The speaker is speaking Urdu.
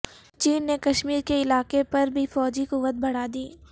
چین نے کشمیر کے علاقے پر بھی فوجی قوت بڑھا دی